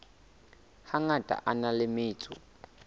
hangata a na le metso